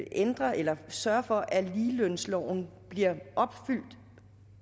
ændre eller sørge for at ligelønsloven bliver opfyldt